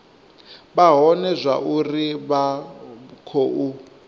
vha vhone zwauri vha khou